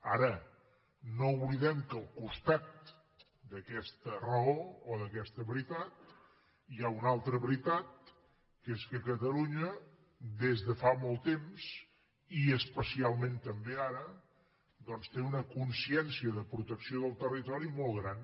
ara no oblidem que al costat d’aquesta raó o d’aquesta veritat hi ha una altra veritat que és que catalunya des de fa molt temps i especialment també ara té una consciència de protecció del territori molt gran